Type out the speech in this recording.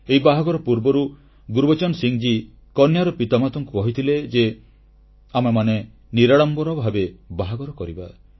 ଏହି ବାହାଘର ପୂର୍ବରୁ ଗୁରବଚନ ସିଂହ ମହାଶୟ କନ୍ୟାର ପିତାମାତାଙ୍କୁ କହିଥିଲେ ଯେ ଆମେମାନେ ନିରାଡ଼ମ୍ବର ଭାବେ ବାହାଘର କରିବା